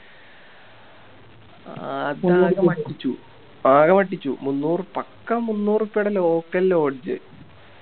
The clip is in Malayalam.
പറ്റിച്ചു ആകെ പറ്റിച്ചു മൂന്നൂർ പക്ക മൂന്നൂറുപ്യേടെ Local lodge